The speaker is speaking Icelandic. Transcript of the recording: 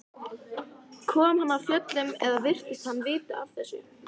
Kom hann af fjöllum eða virtist hann vita af þessu?